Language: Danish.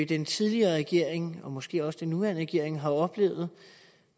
den tidligere regering og måske også den nuværende regering har oplevet og